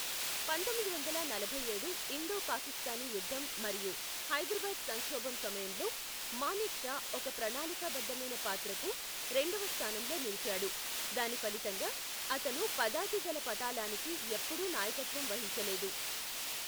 పంతొమ్మిది వందల నలభై ఏడు ఇండో పాకిస్తానీ యుద్ధం మరియు హైదరాబాద్ సంక్షోభం సమయంలో మానేక్షా ఒక ప్రణాళికాబద్ధమైన పాత్రకు రెండవ స్థానంలో నిలిచాడు, దాని ఫలితంగా, అతను పదాతిదళ పటాలానికి ఎప్పుడూ నాయకత్వం వహించలేదు.